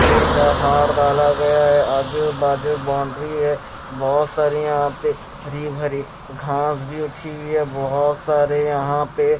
का हार डाला गया हैआजू बाजू बाउंड्री है। बहुत सारी यहां पे हरी भरी घास भी उठी हैबहुत सारे यहां पे---